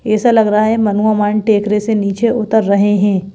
ऐसा लग रहा है मनुआमान टेकरे से नीचे उतर रहे हैं।